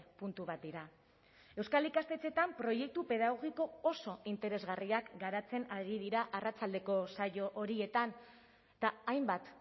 puntu bat dira euskal ikastetxeetan proiektu pedagogiko oso interesgarriak garatzen ari dira arratsaldeko saio horietan eta hainbat